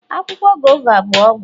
Akwụkwọ guava bụ ọgwụ